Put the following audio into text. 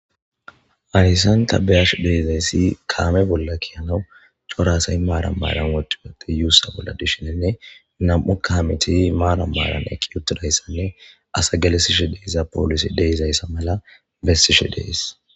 Hayssan tabeyash deezayssi kaame bolla kiyanawu coraasay maaram maaran wodiwoti yuussa bolla dishinenne nam7u kamiti maara maaran eqqi otidayssanne asa galesishi deeza poolisi deezayssa mala bessishi dees.